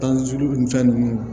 Tan sulu nin fɛn nunnu